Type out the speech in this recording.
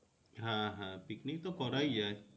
হ্যাঁ হ্যাঁ পিকনিক তো করাই যায়।